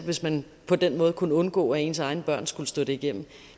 hvis man på den måde kunne undgå at ens egne børn skulle stå det igennem